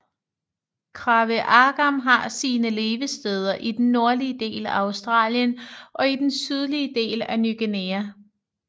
Kraveagam har sine levesteder i den nordlige del af Australien og i den sydlige del af Ny Guinea